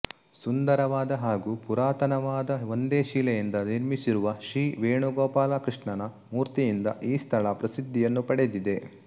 ಸುಂದರವಾದ ಹಾಗು ಪುರಾತನವಾದ ಒಂದೆ ಶಿಲೆಯಿಂದ ನಿರ್ಮಿಸಿರುವ ಶ್ರೀವೇಣುಗೋಪಾಲಕೃಷ್ಣನ ಮೂರ್ತಿಯಿಂದ ಈ ಸ್ಥಳ ಪ್ರಸಿದ್ಧಿಯನ್ನು ಪಡೆದಿದೆ